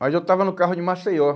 Mas eu estava no carro de Maceió.